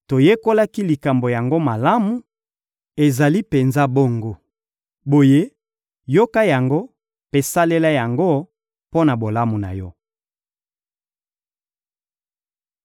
Toyekolaki likambo yango malamu: ezali penza bongo. Boye, yoka yango mpe salela yango mpo na bolamu na yo!»